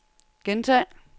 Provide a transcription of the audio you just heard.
gentag